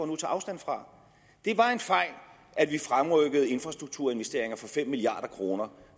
nu tager afstand fra det var en fejl at vi fremrykkede infrastrukturinvesteringer for fem milliard kroner